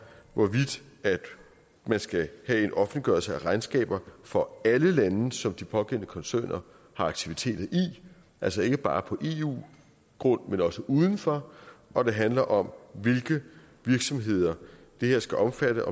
hvorvidt man skal have en offentliggørelse af regnskaber for alle lande som de pågældende koncerner har aktiviteter i altså ikke bare på eu grund men også uden for og det handler om hvilke virksomheder det her skal omfatte